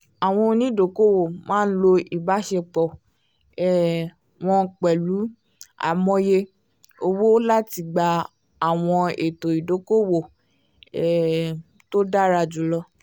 àwọn onídokòòwò máa ń lo ìbáṣepọ̀ um wọn pẹ̀lú amòye owó láti gba àwọn ètò ìdókòòwò um tó dára jù lọ